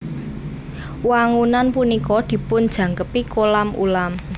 Wangunan punika dipunjangkepi kolam ulam